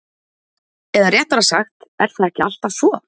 Eða réttara sagt er það ekki alltaf svo?